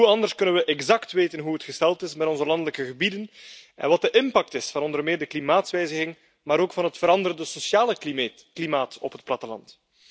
Hoe anders kunnen we exact weten hoe het gesteld is met onze landelijke gebieden en wat de impact is van onder meer de klimaatsverandering maar ook van het veranderde sociale klimaat op het platteland?